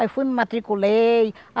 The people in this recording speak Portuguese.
Aí fui, me matriculei.